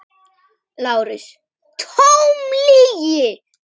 LÁRUS: Tóm lygi!